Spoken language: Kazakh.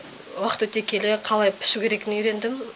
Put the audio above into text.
уақыт өте келе қалай пішу керегін үйрендім